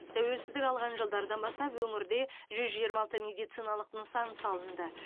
тәуелсіздік алған жылдардан бастап өңірде жүз жиырма алты медициналық нысан салынды